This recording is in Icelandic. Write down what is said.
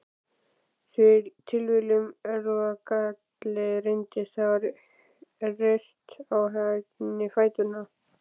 Tilviljun, erfðagalli, reyndist hafa reyrt á henni fæturna.